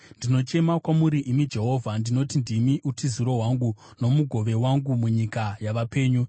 Ndinochema kwamuri, imi Jehovha; ndinoti, “Ndimi utiziro hwangu, nomugove wangu munyika yavapenyu.”